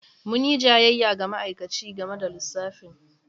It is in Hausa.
Mun yi jayayya da ma'aikaci game da lissafin.